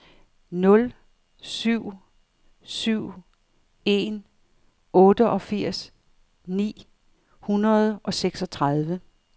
nul syv syv en otteogfirs ni hundrede og seksogtredive